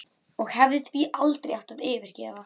Og hefði því aldrei átt að yfirgefa